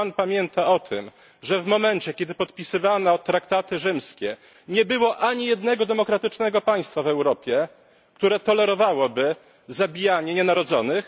Czy Pan pamięta o tym, że w momencie, kiedy podpisywano traktaty rzymskie nie było ani jednego demokratycznego państwa w Europie, które tolerowałoby zabijanie nienarodzonych?